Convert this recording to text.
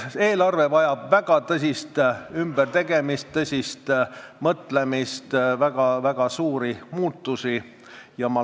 Eelarve vajab väga tõsist ümbertegemist, tõsist mõtlemist, väga suuri muutusi.